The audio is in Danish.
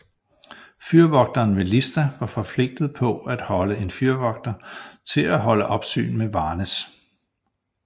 Fyrvogteren ved Lista var forpligtet til at holde en fyrvogter til at holde opsyn med Varnes